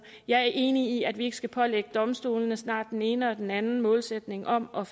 jeg er enig i at vi ikke skal pålægge domstolene snart den ene og snart den anden målsætning om om